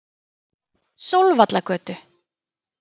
Sólvallagötu